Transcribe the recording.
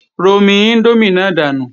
Romi índómì náà dànù!